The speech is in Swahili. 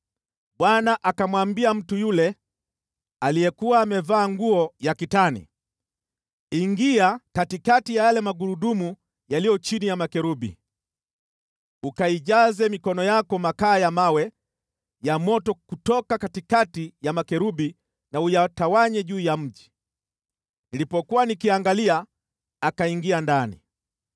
Bwana akamwambia mtu yule aliyekuwa amevaa nguo ya kitani, “Ingia katikati ya yale Magurudumu yaliyo chini ya makerubi. Ukaijaze mikono yako makaa ya mawe ya moto kutoka katikati ya makerubi na uyatawanye juu ya mji.” Nilipokuwa nikiangalia, akaingia ndani.